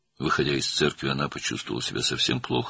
Kilsədən çıxanda özünü çox pis hiss etdi.